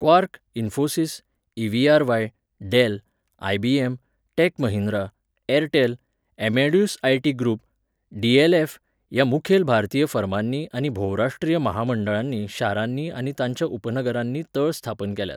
Quark, Infosys, EVRY., Dell, IBM., Tech Mahindra, Airtel, Amadeus IT. Group, DLF. ह्या मुखेल भारतीय फर्मांनी आनी भोवराष्ट्रीय म्हामंडळांनी शारांनी आनी तांच्या उपनगरांनी तळ स्थापन केल्यात.